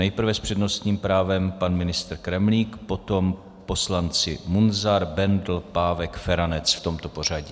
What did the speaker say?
Nejprve s přednostním právem pan ministr Kremlík, potom poslanci Munzar, Bendl, Pávek, Feranec, v tomto pořadí.